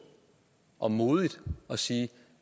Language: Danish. og modigt sige at